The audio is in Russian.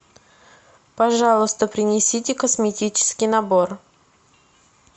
пожалуйста принесите косметический набор